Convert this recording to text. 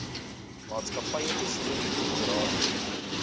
maatskappye beslote korporasies